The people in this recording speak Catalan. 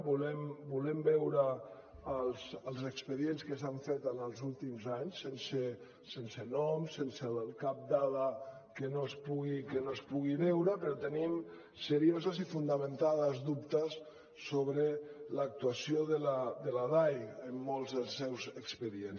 volem veure els expedients que s’han fet en els últims anys sense nom sense cap dada que no es pugui veure però tenim seriosos i fonamentats dubtes sobre l’actuació de la dai en molts dels seus expedients